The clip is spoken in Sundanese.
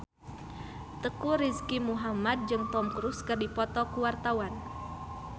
Teuku Rizky Muhammad jeung Tom Cruise keur dipoto ku wartawan